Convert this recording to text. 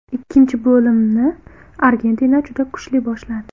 Ikkinchi bo‘limni Argentina juda kuchli boshladi.